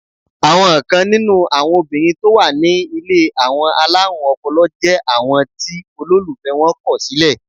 Àwọn kan nínú àwọn obìnrin tó wà ní ilé àwọn alárùn ọpọlọ jẹ́ àwọn tí olólùfẹ́ wọn kọ̀ sílẹ̀.